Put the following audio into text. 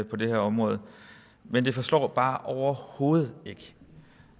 på det her område men det forslår bare overhovedet ikke